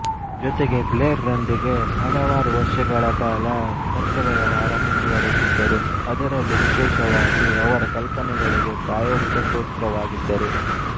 ಜೊತೆಗೆ ಬ್ಲೇರ್ ರೊಂದಿಗೆ ಹಲವಾರು ವರ್ಷಗಳ ಕಾಲ ಪತ್ರ ವ್ಯವಹಾರ ಮುಂದುವರೆಸಿದ್ದರು ಅದರಲ್ಲೂ ವಿಶೇಷವಾಗಿ ಅವರ ಕಲ್ಪನೆಗಳಿಗೆ ಪ್ರಾಯೋಗಿಕ ಶ್ರೋತೃವಾಗಿದ್ದರು